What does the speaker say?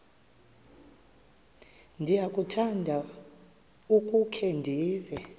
ndiyakuthanda ukukhe ndive